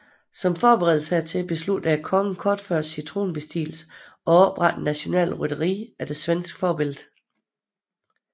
Som forberedelse hertil besluttede kongen kort efter sin tronbestigelse at oprette et nationalt rytteri efter svensk forbillede